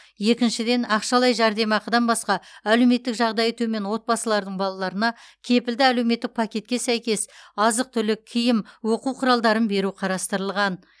екіншіден ақшалай жәрдемақыдан басқа әлеуметтік жағдайы төмен отбасылардың балаларына кепілді әлеуметтік пакетке сәйкес азық түлік киім оқу құралдарын беру қарастырылған